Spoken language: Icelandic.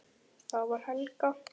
Það var Helga!